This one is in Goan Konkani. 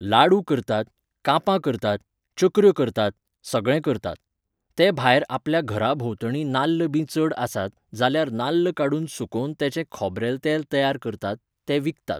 लाडु करतात, कापां करतात, चकऱ्यो करतात, सगळें करतात. ते भायर आपल्या घरा भोंवतणी नाल्ल बी चड आसात, जाल्यार नाल्ल काडुन सुकोवन तेचें खोबरेल तेल तयार करतात, तें विकतात